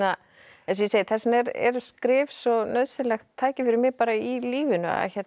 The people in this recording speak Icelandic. eins og ég segi þess vegna eru skrif svo nauðsynlegt tæki fyrir mig bara í lífinu